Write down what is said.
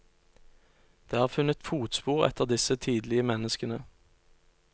Det er funnet fotspor etter disse tidlige menneskene.